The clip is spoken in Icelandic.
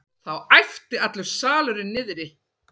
Þá æpti allur salurinn niðri.